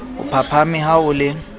o phaphame ha o le